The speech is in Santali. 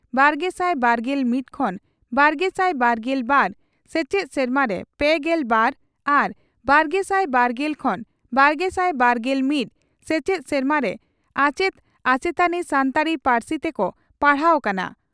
ᱵᱟᱨᱜᱮᱥᱟᱭ ᱵᱟᱨᱜᱮᱞ ᱢᱤᱛ ᱠᱷᱚᱱ ᱵᱟᱨᱜᱮᱥᱟᱭ ᱵᱟᱨᱜᱮᱞ ᱵᱟᱨ ᱥᱮᱪᱮᱫ ᱥᱮᱨᱢᱟᱨᱮ ᱯᱮᱜᱮᱞ ᱵᱟᱨ ᱟᱨ ᱵᱟᱨᱜᱮᱥᱟᱭ ᱵᱟᱨᱜᱮᱞ ᱠᱷᱚᱱ ᱵᱟᱨᱜᱮᱥᱟᱭ ᱵᱟᱨᱜᱮᱞ ᱢᱤᱛ ᱥᱮᱪᱮᱫ ᱥᱮᱨᱢᱟᱨᱮ ᱟᱪᱮᱛ ᱟᱪᱮᱛᱟᱱᱤ ᱥᱟᱱᱛᱟᱲᱤ ᱯᱟᱹᱨᱥᱤᱛᱮ ᱠᱚ ᱯᱟᱲᱦᱟᱣ ᱠᱟᱱᱟ ᱾